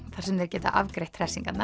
þar sem þeir geta afgreitt